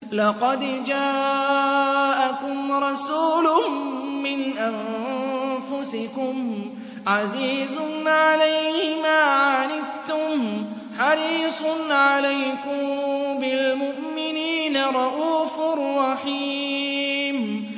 لَقَدْ جَاءَكُمْ رَسُولٌ مِّنْ أَنفُسِكُمْ عَزِيزٌ عَلَيْهِ مَا عَنِتُّمْ حَرِيصٌ عَلَيْكُم بِالْمُؤْمِنِينَ رَءُوفٌ رَّحِيمٌ